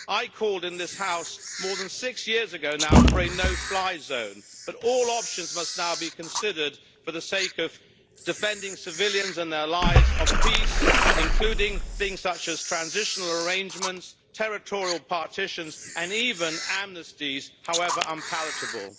I called in this House more than six years ago now for a no fly zone, but all options must now be considered for the sake of defending civilians and their lives, of peace, including things such as transitional arrangements, territorial partitions and even amnesties, however unpalatable.